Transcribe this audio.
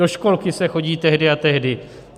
Do školky se chodí tehdy a tehdy.